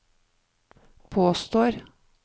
påstår